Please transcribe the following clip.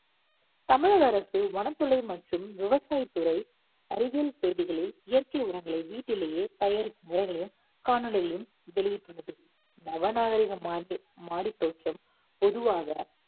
தமிழக அரசு வனத்தொழில் மற்றும் விவசாய தொழில் அறிவியல் செய்திகளில் இயற்கை உரங்களை வீட்டிலேயே தயாரிக்கும் முறைகளையும் காணொளிகளில் வெளியிட்டுள்ளது. நவநாகரிகம் ஆகிய மாடித்தோட்டம் பொதுவாக